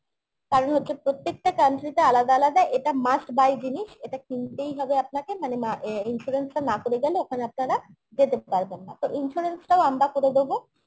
কারণ হচ্ছে প্রত্যেকটা country তে আলাদা আলাদা এটা must buy জিনিস এটা কিনতেই হবে আপনাকে মানে অ্যাঁ insurance টা না করে গেলে ওখানে আপনারা যেতে পারবেন না তো insurance টাও আমরা করে দেবো